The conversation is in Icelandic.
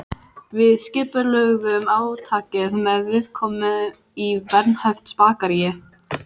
Við skipulögðum átakið með viðkomu í Bernhöftsbakaríi.